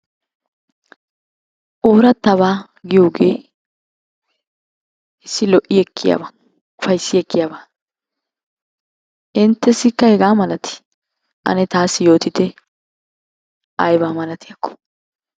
Oorattabaa giyogee issi lo'i ekkiyaaba ufayissi ekkiyaba. inttessikka hegaa malatii? taassi yootite ayibaa malatiyakko.